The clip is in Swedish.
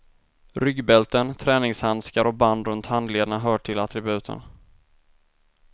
Ryggbälten, träningshandskar och band runt handlederna hör till attributen.